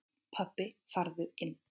Pabbi farðu inn!